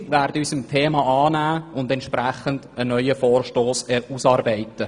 Wir werden uns diesem Thema annehmen und einen neuen Vorstoss ausarbeiten.